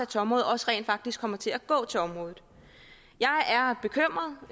til området også rent faktisk kommer til at gå til området jeg